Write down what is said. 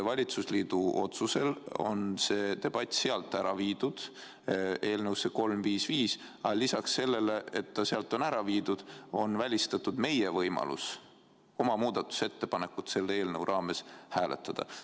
Valitsusliidu otsusel on see teema sealt ära viidud eelnõusse 355, aga lisaks sellele, et see sealt on ära viidud, on välistatud meie võimalus nõuda oma muudatusettepaneku hääletamist selle eelnõu raames.